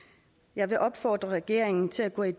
jeg vil opfordre regeringen til at gå i